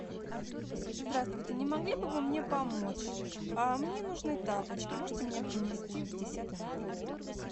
здравствуйте не могли бы вы мне помочь мне нужны тапочки можете мне принести в десятый номер